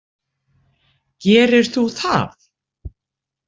Gerir þú það?